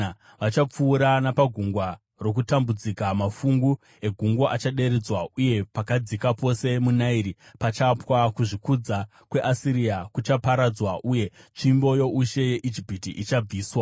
Vachapfuura napagungwa rokutambudzika; mafungu egungwa achaderedzwa uye pakadzika pose muna Nairi pachapwa. Kuzvikudza kweAsiria kuchaparadzwa uye tsvimbo youshe yeIjipiti ichabviswa.